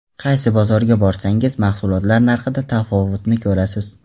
Qaysi bozorga borsangiz, mahsulotlar narxida tafovutni ko‘rasiz.